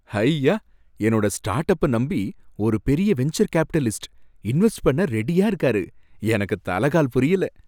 ஹய்யா! என்னோட startup நம்பி ஒரு பெரிய வென்சர் கேபிட்டலிஸ்ட் இன்வெஸ்ட் பண்ண ரெடியா இருக்காரு, எனக்கு தல கால் புரியல